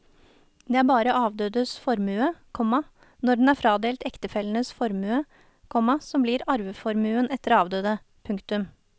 Det er bare avdødes formue, komma når den er fradelt ektefellenes formue, komma som blir arveformuen etter avdøde. punktum